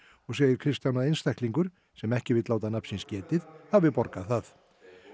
segir Kristján að einstaklingur sem ekki vill láta nafn síns getið hafi borgað það